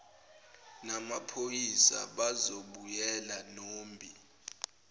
namaphoyisa bazobuyela nombi